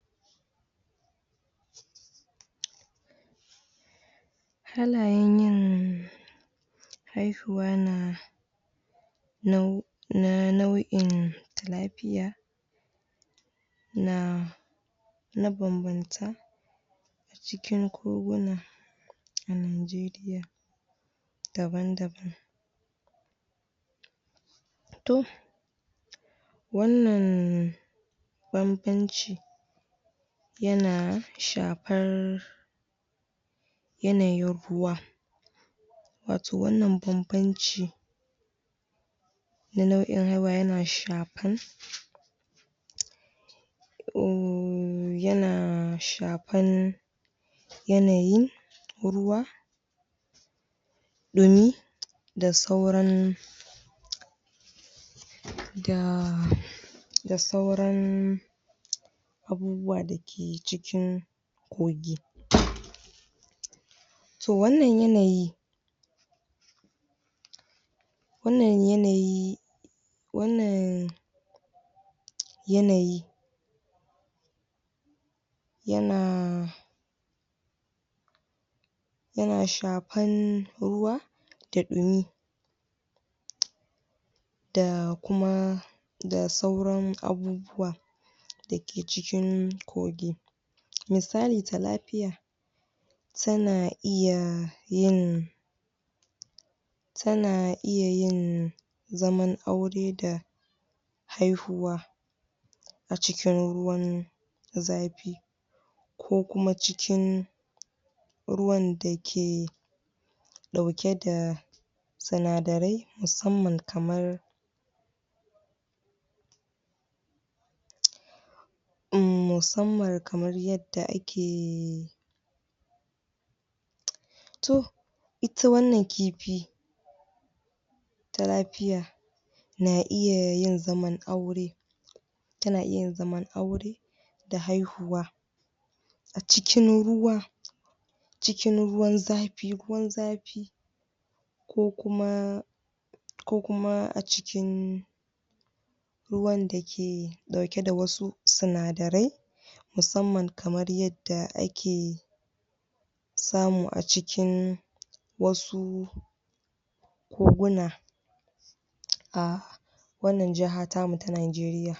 halayen yin haihuwa na nau'in na nau'in lafiya na ma bambanta cikin koguna a najeriya daban daban to wanna bambanci yana shafar yanayin ruwa wato wanna bambanci na nau'in haihuwa yana shafar uhmm yana shafar yanayin ruwa dumi da sauran da sauran abubuwa dake cikin kogi to wannan yanayi wannan yanayi wannan yanayi yana yana shafar ruwa da dumi da kuma da sauran abubuwa fake cikin kogi misali talafiya tana iya yin tana iya yin zaman aure da haihuwa a cikin ruwan zafi ko kuma cikin ruwan dake aduke da sinadarai musamman kamar uhmm musamman kamar yarda ake to ita wannan kifi talafiya na iya yin zaman aure tana iya yin zaman aure da haihuwa cikin ruwa cikin ruwan zafi ruwan zafi ko kuma ko kuma a cikin ko kuma a cikin ruwan dake dauke da wasu sinadarai musamman kamar yadda ake samu a cikin wasu koguna ah wannan kasa tamu ta nageriya